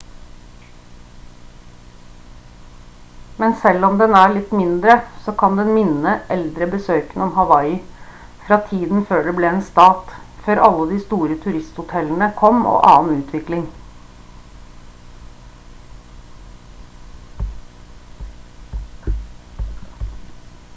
men selv om den er litt mindre så kan den minne eldre besøkende om hawaii fra tiden før det ble en stat før alle de store turisthotellene kom og annen utvikling